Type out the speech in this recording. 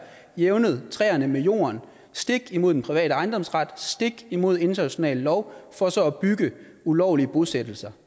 jævnet træerne med jorden stik imod den private ejendomsret stik imod international lov for så at bygge ulovlige bosættelser